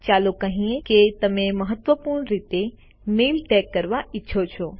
ચાલો કહીએ કે તમે મહત્વપૂર્ણ રીતે મેઈલને ટેગ કરવા ઈચ્છો છો